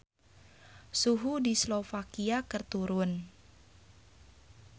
Suhu di Slovakia keur turun